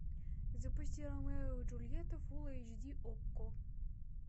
запусти ромео и джульетта фулл эйч ди окко